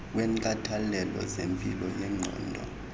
wenkathalelo zempilo yengqondo